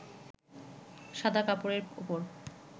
সাদা কাপড়ের ওপর